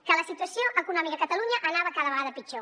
que la situació econòmica a catalunya anava cada vegada pitjor